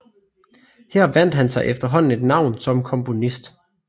Her vandt han sig efterhånden et navn som komponist